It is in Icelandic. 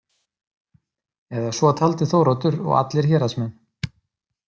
Eða svo taldi Þóroddur og allir héraðsmenn.